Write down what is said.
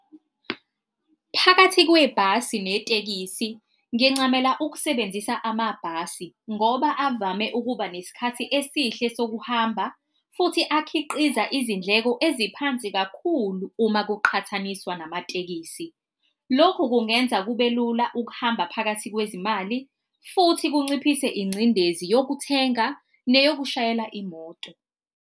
Phakathi kwebhasi netekisi ngincamela ukusebenzisa amabhasi ngoba avame ukuba nesikhathi esihle sokuhamba, futhi akhiqiza izindleko eziphansi kakhulu uma kuqhathaniswa namatekisi. Lokhu kungenza kube lula ukuhamba phakathi kwezimali futhi kunciphise ingcindezi yokuthenga neyokushayela imoto.